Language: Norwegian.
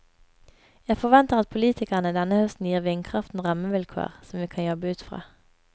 Jeg forventer at politikerne denne høsten gir vindkraften rammevilkår som vi kan jobbe ut fra.